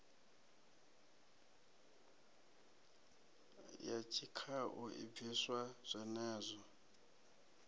ya tshikhau i bviswa zwenezwo